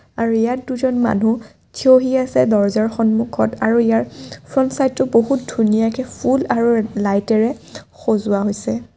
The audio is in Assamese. আৰু ইয়াত দুজন মানুহ থিয়হি আছে দৰ্জাৰ সন্মুখত আৰু ইয়াৰ ফ্ৰণ্ট চাইড টো বহুত ধুনীয়াকে ফুল আৰু লাইটেৰে সজোৱা হৈছে।